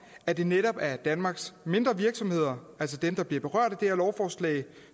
at det netop er danmarks mindre virksomheder altså dem der bliver berørt af det her lovforslag